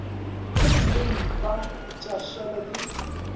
gomme mpa tša šala di